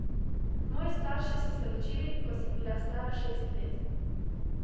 Moji straši so se ločili, ko sem bila stara šest let.